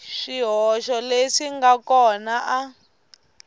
swihoxo leswi nga kona a